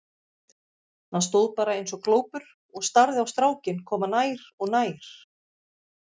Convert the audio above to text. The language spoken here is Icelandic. Hann stóð bara eins og glópur og starði á strákinn koma nær og nær.